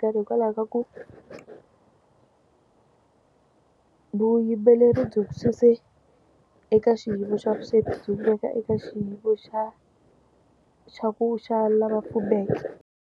karhi hikwalaho ka ku ku vuyimbeleri byi mu suse eka xiyimo xa vusweti byi n'wi veka eka xiyimo xa xa ku xa lava fumeke.